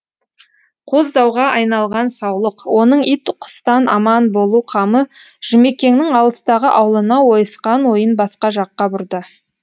қоздауға айналған саулық оның ит құстан аман болу қамы жұмекеңнің алыстағы аулына ойысқан ойын басқа жаққа бұрды